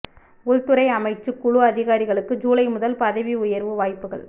உள்துறை அமைச்சுக் குழு அதிகாரிகளுக்கு ஜூலை முதல் பதவி உயர்வு வாய்ப்புகள்